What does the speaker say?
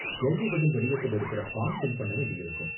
கேள்வி பதில் வடிவத்துல இருக்குற ஃபார்ம் ஃபில் பண்ண வேண்டியிருக்கும்.